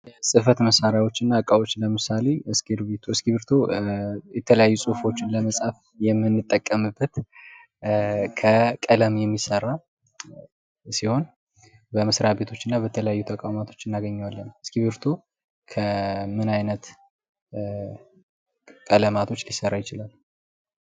የጽህፈት መሳሪያዎች እና ዕቃዎች ለምሳሌ እስክርቢቶ ።እስክርቢቶ የተለያዩ ጽሁፎችን ለመጻፍ የምንጠቀምበት፣ ከቀለም የሚሰራ ሲሆን በመስሪያ ቤቶች እና በተለያዩ ተቋማቶች እናገኘዋለን። እስክርቢቶ ከምን አይነት ቀለማቶች ሊሰራ ይችላል?